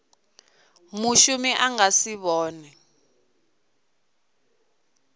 mushumi a nga si vhonwe